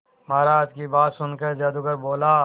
महाराज की बात सुनकर जादूगर बोला